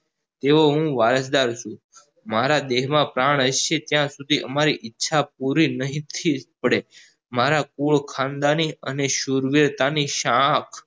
તેવો હું વારશદર છું મારા દેહ માં પ્રાણ હશે ત્યાં સુધી તમારી ઈચ્છા પુરી નહિ થી જ પડે મારા કુલ ખાનદાની અને સુરવીરતાની શાહ